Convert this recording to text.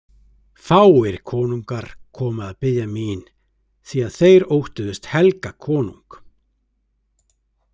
Fáir konungar komu að biðja mín því að þeir óttuðust Helga konung.